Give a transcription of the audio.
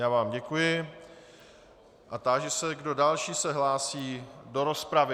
Já vám děkuji a táži se, kdo další se hlásí do rozpravy.